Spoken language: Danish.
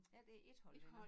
Ja det ét hold venner